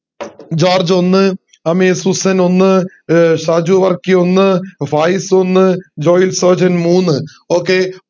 George ഒന്ന് Susan ഒന്ന് സാജു വർക്കി ഒന്ന് ഫായിസ് ഒന്ന് ജോയ്‌ൽ സോജൻ മൂന്ന് okay